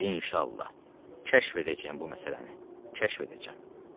İnşallah, kəşf edəcəm bu məsələni, kəşf edəcəm.